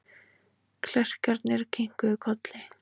Klerkarnir kinkuðu kolli.